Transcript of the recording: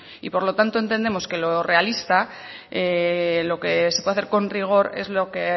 y por lo tanto entendemos que lo realista lo que se puede hacer con rigor es lo que